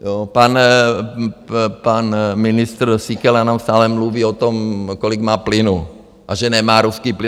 Pan ministr Síkela jenom stále mluví o tom, kolik má plynu a že nemá ruský plyn.